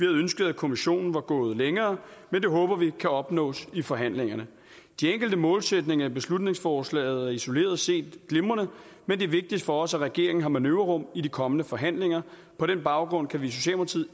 ønsket at kommissionen var gået længere men det håber vi kan opnås i forhandlingerne de enkelte målsætninger i beslutningsforslaget er isoleret set glimrende men det er vigtigt for os at regeringen har manøvrerum i de kommende forhandlinger på den baggrund kan vi